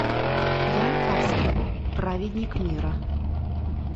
ян карский праведник мира